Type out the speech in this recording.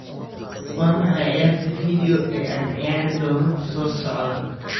waa maxay ciyaarta video ee aan ciyaari doono soo socda